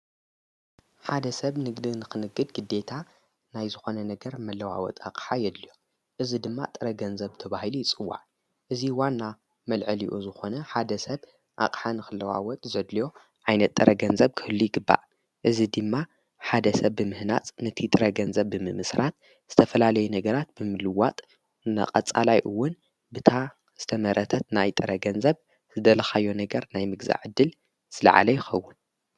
ሓደ ሰብ ንግድ ንኽንግድ ግደታ ናይ ዝኾነ ነገር መለዋወጥ ኣቕሓ የድልዮ እዝ ድማ ጥረገንዘብ ተብሂሉ ይጽዋዕ እዙይ ዋና መልዕልኡ ዝኾነ ሓደ ሰብ ኣቕሓን ኽለዋወት ዘድልዮ ዓይነት ጥረገንዘብ ክህሉ ይግባእ እዝ ድማ ሓደ ሰብ ብምህናጽ ነቲ ጥረገንዘብ ብምምስራት ዝተፈላለይ ነገራት ብምልዋጥ ናቐፃላይውን ብታ ዝተመረተት ናይ ጥረገንዘብ ዝደለኻዮ ነገር ናይ ምግዛዕ ድል ዝለዓለ ይኸውን።